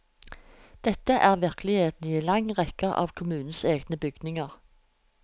Dette er virkeligheten i en lang rekke av kommunens egne bygninger.